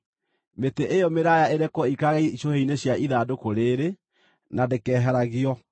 Mĩtĩ ĩyo mĩraaya ĩrekwo ĩikarage icũhĩ-inĩ cia ithandũkũ rĩĩrĩ, na ndĩkeheragio.